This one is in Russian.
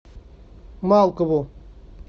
малкову